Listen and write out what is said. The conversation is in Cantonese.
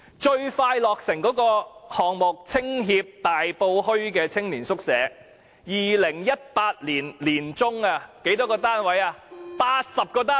最快落成的項目，是香港青年協會的大埔墟青年宿舍，在2018年年中落成，僅提供80個單位。